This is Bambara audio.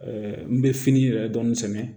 n bɛ fini yɛrɛ dɔɔnin sɛnɛ